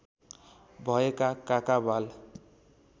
भएका काका बाल